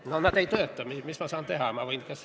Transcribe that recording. No see ei tööta, mis ma saan teha.